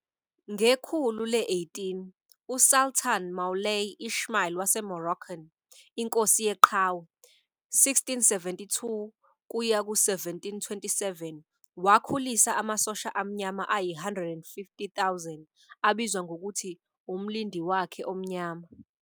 Ngekhulu le-18, uSultan Moulay Ismail waseMoroccan "Inkosi Yeqhawe", 1672-1727, wakhulisa amasosha amnyama ayi-150,000, abizwa ngokuthi uMlindi wakhe Omnyama.